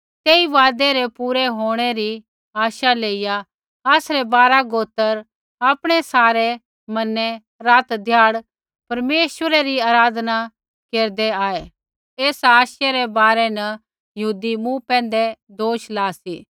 तेई वायदै रै पूरै होंणै री आशा लाइया आसरै बारा गोत्र आपणै सारै मनै रातध्याड़ परमेश्वरै री आराधना न केरदै आऐ एसा आशै रै बारै न यहूदी मूँ पैंधै दोष ला सी